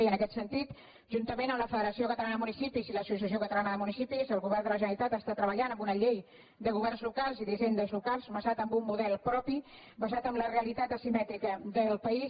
i en aquest sentit juntament amb la federació catalana de municipis i l’associació catalana de municipis el govern de la generalitat està treballant en una llei de governs locals i d’hisendes locals basada en un model propi basada en la realitat asimètrica del país